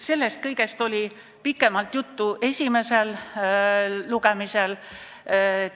Sellest kõigest oli pikemalt juttu esimesel lugemisel.